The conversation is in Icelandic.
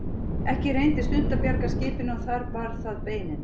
Ekki reyndist unnt að bjarga skipinu og þar bar það beinin.